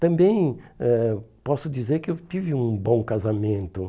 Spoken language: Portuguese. Também eh posso dizer que eu tive um bom casamento.